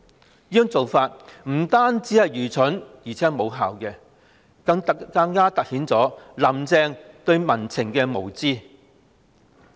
這種做法不單愚蠢，而且無效，更凸顯"林鄭"對民情的無知。